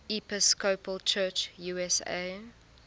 episcopal church usa